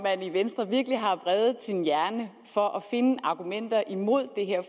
man i venstre virkelig har vredet sin hjerne for at finde argumenter imod det her